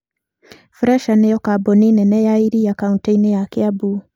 Fresha nĩ yo kambuni nene ya iria kaunti-inĩ ya Kiambu